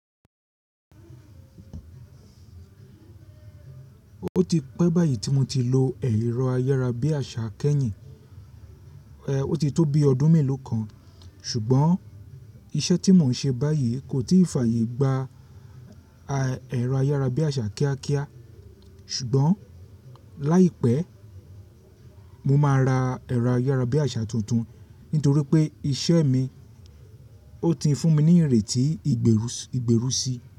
Ó ti pẹ́ báyìí tí mo ti lo ẹ̀rọ ayárabíàṣà kẹ́yìn, ẹ́, ó ti tó bí ọdún mélòó kan. Ṣùgbọ́n iṣẹ́ tí mò ń ṣe báyìí kò tíì fàyè gba a ẹ̀rọ ayárabíàṣà kíákíá. Ṣùgbọ́n láìpẹ́, mo máa ra ẹ̀rọ ayárabíàṣà tuntun nítorí pé iṣẹ́ mi ó ti ń fún mi ní ìrètí ìgbérúsi.